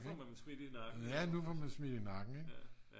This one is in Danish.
ja nu får man smidt i nakken ik